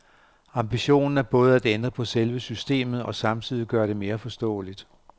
Ambitionen er både at ændre på selve systemet og samtidig gøre det mere forståeligt.